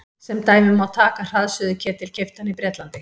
Sem dæmi má taka hraðsuðuketil keyptan í Bretlandi.